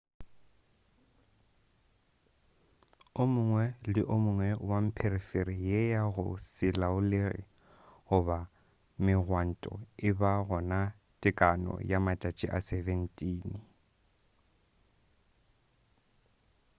o mongwe le o mongwe wa mpherefere ye ya go se laolege goba megwanto e ba gona tekano ya matšatši a 17